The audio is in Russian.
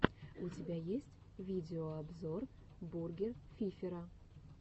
у тебя есть видеообзор бургер фифера